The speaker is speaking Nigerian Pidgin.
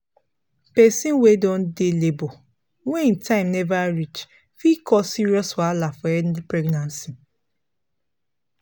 persin wey don dey labor wey him time never reach fit cause serious wahala for early pregnancy pause